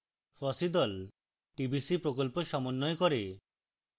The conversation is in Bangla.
fossee the tbc প্রকল্প সমন্বয় করে